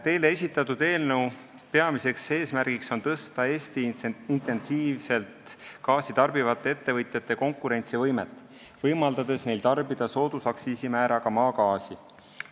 Teile esitatud eelnõu peamine eesmärk on tõsta Eesti intensiivselt gaasi tarbivate ettevõtjate konkurentsivõimet, võimaldades neid tarbida soodusaktsiisimääraga maksustatavat maagaasi.